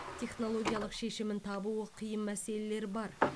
технологиялық шешімін табуы қиын мәселелер бар